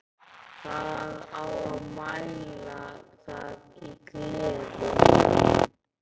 Það á að mæla það í gleði.